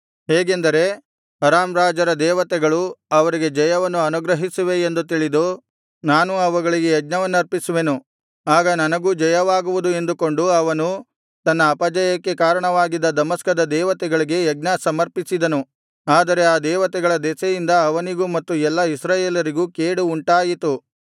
ಹೇಗೆಂದರೆ ಅರಾಮ್ ರಾಜರ ದೇವತೆಗಳು ಅವರಿಗೆ ಜಯವನ್ನು ಅನುಗ್ರಹಿಸುವೆ ಎಂದು ತಿಳಿದು ನಾನೂ ಅವುಗಳಿಗೆ ಯಜ್ಞಸಮರ್ಪಿಸುವೆನು ಆಗ ನನಗೂ ಜಯವಾಗುವುದು ಎಂದುಕೊಂಡು ಅವನು ತನ್ನ ಅಪಜಯಕ್ಕೆ ಕಾರಣವಾಗಿದ್ದ ದಮಸ್ಕದ ದೇವತೆಗಳಿಗೆ ಯಜ್ಞಸಮರ್ಪಿಸಿದನು ಆದರೆ ಆ ದೇವತೆಗಳ ದೆಸೆಯಿಂದ ಅವನಿಗೂ ಮತ್ತು ಎಲ್ಲಾ ಇಸ್ರಾಯೇಲರಿಗೂ ಕೇಡು ಉಂಟಾಯಿತು